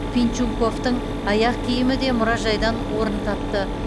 пинчуковтың аяқ киімі де мұражайдан орын тапты